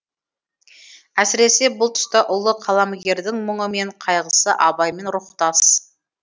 әсіресе бұл тұста ұлы қаламгердің мұңы мен қайғысы абаймен рухтас